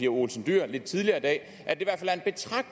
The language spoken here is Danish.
olsen dyhr lidt tidligere i dag